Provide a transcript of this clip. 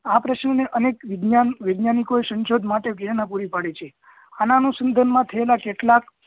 આ પ્રશ્ન ને અનેક વિજ્ઞાનો વિજ્ઞાનીકો એ શંશોધ માટે પ્રેરણા પુરી પડે છે માં થયેલા કેટલાક